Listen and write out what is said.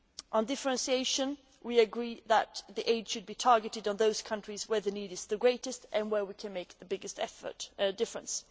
On differentiation we agree that the aid should be targeted at those countries where the need is the greatest and where we can make the biggest difference.